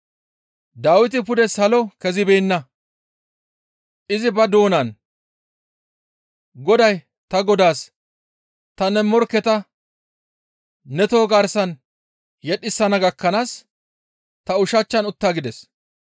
Dawiti pude salo kezibeenna; izi ba doonan, «Goday ta Godaas, ‹Ta ne morkketa ne toho garsan yedhisana gakkanaas ta ushachchan utta› gides.